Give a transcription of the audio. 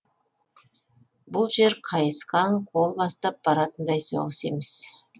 бұл жер қайысқан қол бастап баратындай соғыс емес